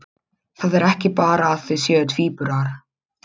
Það er ekki bara að þau séu tvíburar.